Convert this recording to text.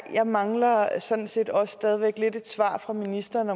jeg mangler sådan set også stadig væk lidt et svar fra ministeren